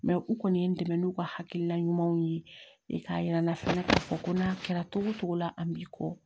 u kɔni ye n dɛmɛ n'u ka hakilina ɲumanw ye ne k'a yira n na fɛnɛ k'a fɔ ko n'a kɛra togo togo la an b'i kɔ